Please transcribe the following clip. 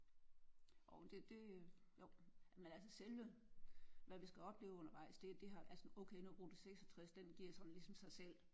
Jo det det jo men altså selve hvad vi skal opleve undervejs det det ej altså okay nu rute 66 den giver sådan ligesom sig selv